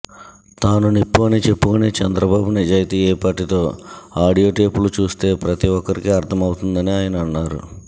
తాను నిప్పు అని చెప్పుకునే చంద్రబాబు నిజాయితీ ఏపాటిదో ఆడియో టేపులు చూస్తే ప్రతి ఒక్కరికీ అర్థమవుతుందని ఆయన అన్నారు